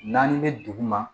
Naani bɛ dugu ma